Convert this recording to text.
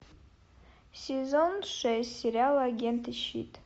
сезон шесть сериала агенты щит